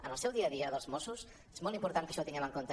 en el seu dia a dia dels mossos és molt important que això ho tinguem en compte